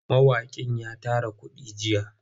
Mawaƙin ya tara kuɗi jiya.